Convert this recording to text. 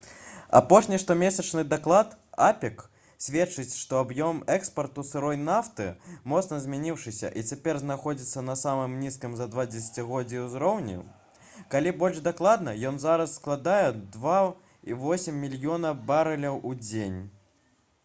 апошні штомесячны даклад апек сведчыць што аб'ём экспарту сырой нафты моцна зменшыўся і цяпер знаходзіцца на самым нізкім за два дзесяцігоддзі ўзроўні калі больш дакладна ён зараз складае 2,8 мільёна барэляў у дзень